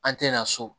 An tɛna so